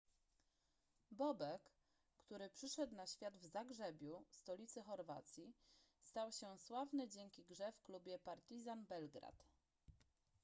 bobek który przyszedł na świat w zagrzebiu stolicy chorwacji stał się sławny dzięki grze w klubie partizan belgrad